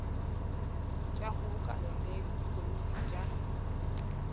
tša kgobokano le dikomiti tša